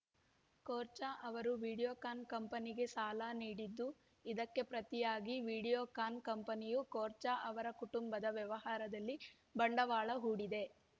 ಕೋರ್ಚ ಅವರು ವಿಡಿಯೋಕಾನ್‌ ಕಂಪನಿಗೆ ಸಾಲ ನೀಡಿದ್ದು ಇದಕ್ಕೆ ಪ್ರತಿಯಾಗಿ ವಿಡಿಯೋಕಾನ್‌ ಕಂಪನಿಯು ಕೋರ್ಚ ಅವರ ಕುಟುಂಬದ ವ್ಯವಹಾರದಲ್ಲಿ ಬಂಡವಾಳ ಹೂಡಿದೆ